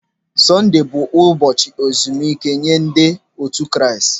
Sondee bụ ụbọchị ezumike nye ndị otu Kraịst.